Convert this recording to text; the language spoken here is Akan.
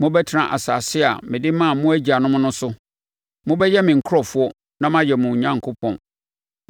Mobɛtena asase a mede maa mo agyanom no so. Mobɛyɛ me nkurɔfoɔ na mayɛ mo Onyankopɔn.